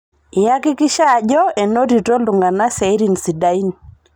Eihakikisha aji enotito ltung'ana siatin sidain